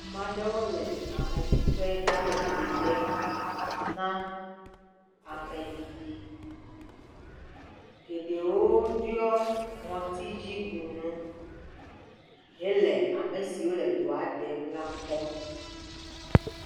Ameaɖewo le ameɖiƒe hele do ɖem na ame ɖiɖi. Geɖewo ɖiɔ ŋɔtidzibunu hele amesiwo le doa ɖem la kpɔm.